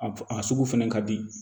A a sugu fɛnɛ ka di